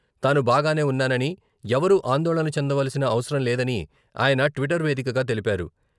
తాను బాగానే ఉన్నానని..ఎవరూ ఆందోళన చెందాల్సిన అవసరం లేదని ఆయన ట్విట్టర్ వేదికగా తెలిపారు.